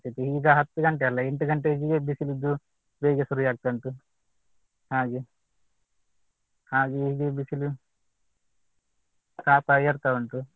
ಈಗ ಹತ್ತು ಗಂಟೆ ಅಲ್ಲ ಎಂಟು ಗಂಟೆಗೆ ಬಿಸಿಲಿದ್ದು ಬೇಗೆ ಶುರು ಆಗ್ತಾ ಉಂಟು ಹಾಗೆ ಹಾಗೆ ಹೀಗೆ ಬಿಸಿಲು ತಾಪ ಏರ್ತಾ ಉಂಟು